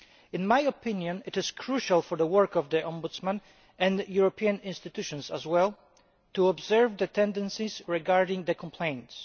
In my opinion, it is crucial for the work of the Ombudsman, and the European institutions as well, to observe the tendencies regarding the complaints.